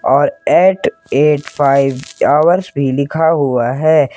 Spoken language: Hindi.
और एट एइट फाइव हॉर्स भी लिखा हुआ है।